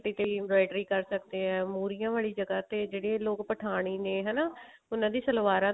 ਕੁੜਤੇ ਤੇ ਵੀ inventory ਕਰ ਸਕਦੇ ਹਾਂ ਮੁਰ੍ਹੀਆਂ ਵਾਲੀ ਜਗ੍ਹਾ ਤੇ ਜਿਹੜੇ ਲੋਕ ਪਠਾਨੀ ਨੇ ਹਨਾ ਉਹਨਾ ਦੀ ਸਲਵਾਰਾਂ